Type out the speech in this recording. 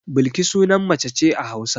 Balki sunan mace ce a Hausa.